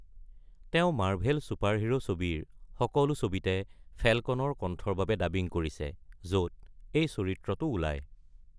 তেওঁ Marvel superhero ছবিৰ সকলো ছবিতে ফল্কনৰ কণ্ঠৰ বাবে ডাবিং কৰিছে, য’ত এই চৰিত্ৰৰ আবিৰ্ভূত হয়।